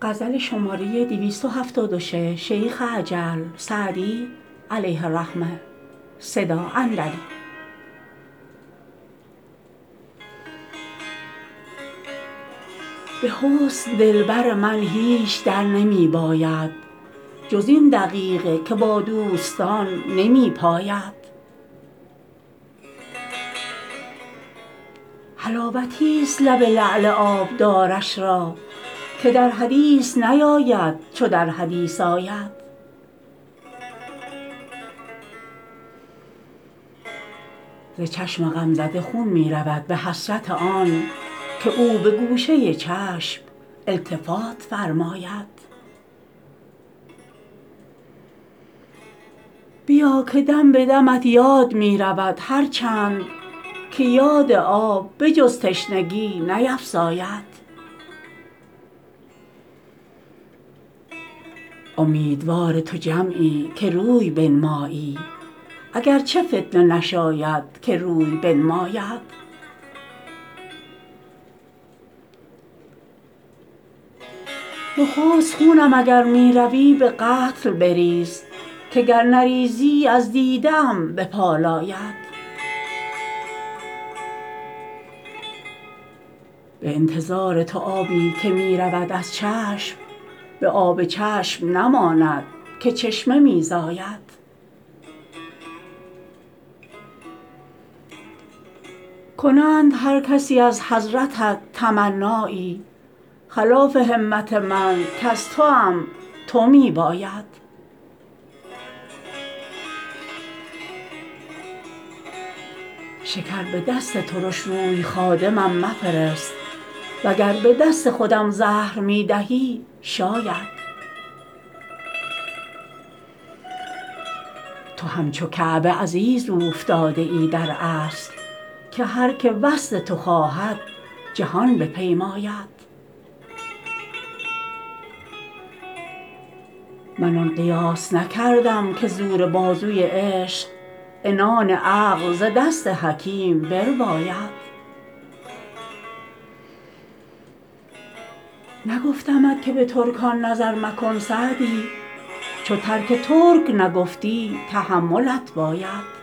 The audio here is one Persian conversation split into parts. به حسن دلبر من هیچ در نمی باید جز این دقیقه که با دوستان نمی پاید حلاوتیست لب لعل آبدارش را که در حدیث نیاید چو در حدیث آید ز چشم غمزده خون می رود به حسرت آن که او به گوشه چشم التفات فرماید بیا که دم به دمت یاد می رود هر چند که یاد آب به جز تشنگی نیفزاید امیدوار تو جمعی که روی بنمایی اگر چه فتنه نشاید که روی بنماید نخست خونم اگر می روی به قتل بریز که گر نریزی از دیده ام بپالاید به انتظار تو آبی که می رود از چشم به آب چشم نماند که چشمه می زاید کنند هر کسی از حضرتت تمنایی خلاف همت من کز توام تو می باید شکر به دست ترش روی خادمم مفرست و گر به دست خودم زهر می دهی شاید تو همچو کعبه عزیز اوفتاده ای در اصل که هر که وصل تو خواهد جهان بپیماید من آن قیاس نکردم که زور بازوی عشق عنان عقل ز دست حکیم برباید نگفتمت که به ترکان نظر مکن سعدی چو ترک ترک نگفتی تحملت باید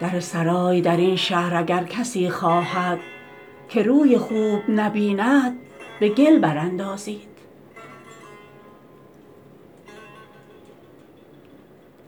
در سرای در این شهر اگر کسی خواهد که روی خوب نبیند به گل برانداید